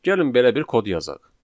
Gəlin belə bir kod yazaq.